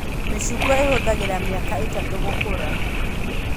Mĩcungwa ĩhũthagĩra mĩaka ĩtatu gũkũra